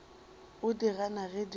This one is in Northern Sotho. o di gana ge di